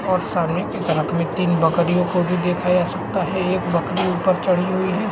और सामने की तरफ तीन बकरियों को भी देखा जा सकता है एक बकरी ऊपर चढ़ी हुई है --